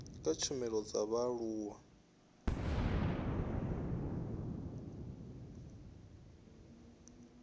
kha tshumelo dza vhaaluwa u